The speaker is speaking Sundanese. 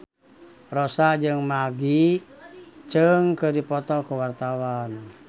Rossa jeung Maggie Cheung keur dipoto ku wartawan